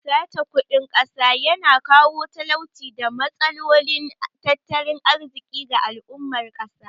Sace kudin ƙasa ya na kawo talauci da matsalolin tattalin arziƙi ga al'ummar ƙasa